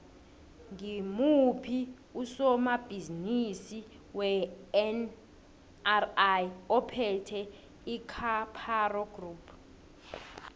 ngimuphi usomabhizimisi wenri ophethe icaparo group